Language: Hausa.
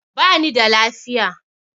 Ba ni da lafiya.